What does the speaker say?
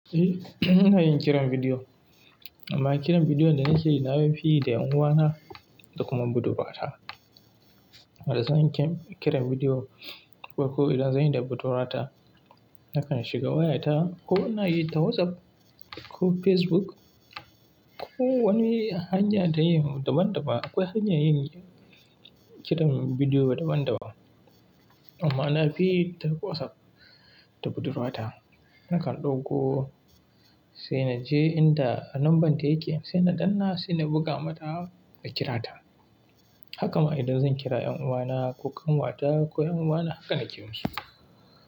Eh, ina yin kiran bidiyo amma kiran bidiyo da nakeyi na fi yi da yan uwana da kuma budurwata. Da zan yi kiran bidiyo ko, ko idan zan yi da budurwata, na kan shiga wayarta ko na yi ta WhatsApp ko Facebook ko wani hanya ta yi daban-daban. Akwai hanya yin kiran bidiyo daban-daban. Amma na fi yi ta WhatsApp da budurwata. Na kan ɗauko sai na je inda an lambanta yake, sai na danna, sai na buga mata da kira ta. Haka ma idan zan kira 'yan uwana ko kanwata ko 'yan uwana haka nake kiran su.